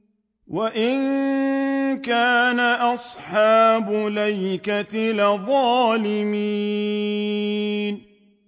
وَإِن كَانَ أَصْحَابُ الْأَيْكَةِ لَظَالِمِينَ